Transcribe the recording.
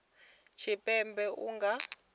tshipembe a nga vha hone